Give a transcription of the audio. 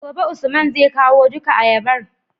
gobe usman zai kawo duka ayabar